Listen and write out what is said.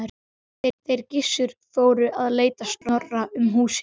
Þeir Gissur fóru að leita Snorra um húsin.